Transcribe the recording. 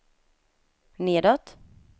nedåt